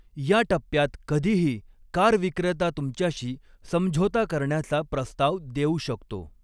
या टप्प्यात कधीही, कार विक्रेता तुमच्याशी समझोता करण्याचा प्रस्ताव देऊ शकतो.